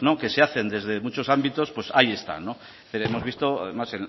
que se hacen desde muchos ámbitos pues ahí están lo hemos visto además